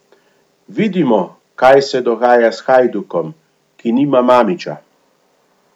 Vidimo, kaj se dogaja s Hajdukom, ki nima Mamića.